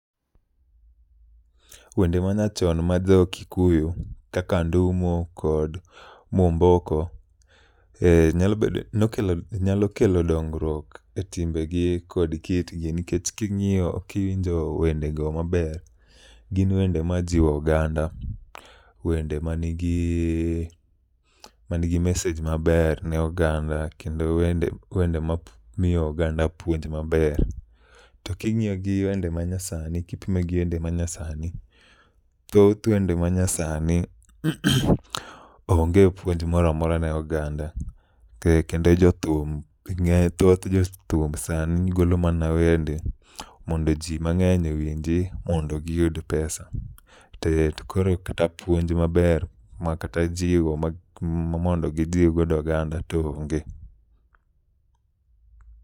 Wende ma nyachon ma jo Kikuyu kaka Ndumo kod Mwomboko nyalo kelo dongruok e timbegi kod kitgi. Nikech king'iyo kiwinjo wendego maber, gin wende ma jiwo oganda. Wende ma nigi ma nigi mesej maber ne oganda kendo wende ma miyo oganda puonj maber. To king'iyo gi wende ma nyasani kipime gi wende ma nyasani, thoth wende ma nyasani onge puonj moramora ne oganda. E kendo e jothum, thoth jothum sani golo mana wende mondo ji mang'eny owinji mondo giyud pesa. E to koro kata puonj maber, to kata jiwo ma mondo gijiw godo oganda to onge.